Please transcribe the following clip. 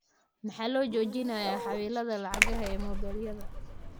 Maxaa loo joojinayaa xaawiladaa lacagaha ee mobaylada?